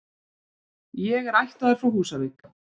Ég er ættaður frá Húsavík.